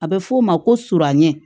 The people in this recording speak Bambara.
A bɛ f'o ma ko suranɲɛ